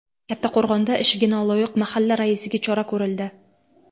Kattaqo‘rg‘onda ishiga noloyiq mahalla raisiga chora ko‘rildi.